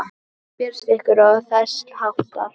Berast ykkur. og þess háttar?